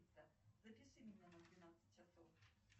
афина соедините меня с банком